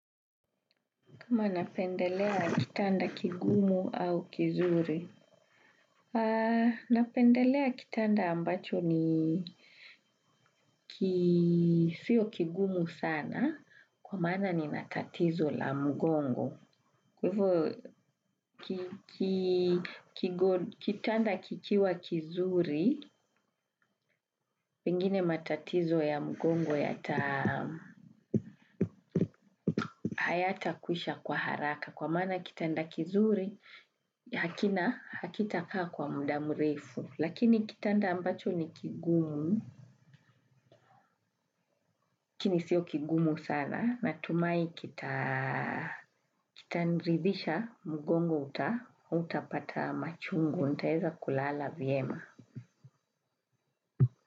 Kama napendelea kitanda kigumu au kizuri? Napendelea kitanda ambacho ni kisio kigumu sana kwa mana nina tatizo la mgongo. Kwa hivyo kitanda kikiwa kizuri, pengine matatizo ya mgongo yata hayatakwisha kwa haraka. Kwa maana kitanda kizuri, hakina, hakitakaa kwa muda mrefu. Lakini kitanda ambacho ni kigumu, lakini sio kigumu sana, natumai kitaniridhisha mugongo hautapata machungu, nitaeza kulala vyema.